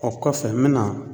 O kɔfɛ n bɛna